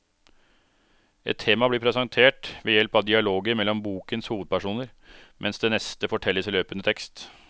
Ett tema blir presentert ved hjelp av dialoger mellom bokens hovedpersoner, mens det neste fortelles i løpende tekst.